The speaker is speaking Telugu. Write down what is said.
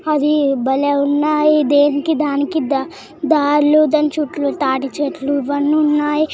అది భలే ఉన్నాయి. దేనికి దానికి దార్లు దాని చుట్టూ తాటి చెట్లు ఇవన్ని ఉన్నాయి.